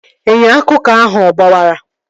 Inyo akụkụ ahụ ọ gbawara?